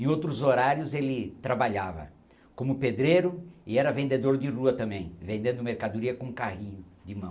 Em outros horários, ele trabalhava como pedreiro e era vendedor de rua também, vendendo mercadoria com carrinho de mão.